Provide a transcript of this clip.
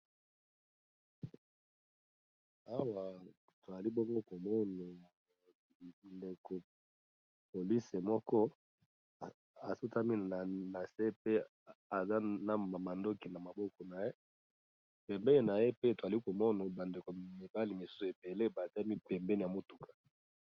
awa toali bongo komono bandekopolisi moko asutami na se pe aza na mandoki na maboko na ye pembei na ye pe toali komono bandeko mibali mosus ebele batami pembe ya motuka